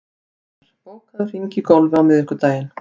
Vinjar, bókaðu hring í golf á miðvikudaginn.